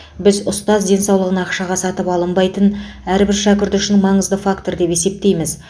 біз ұстаз денсаулығын ақшаға сатып алынбайтын әрбір шәкірт үшін маңызды фактор деп есептейміз